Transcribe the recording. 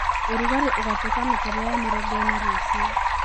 urugari ugatuika makeria ya mĩrongo ĩna rucio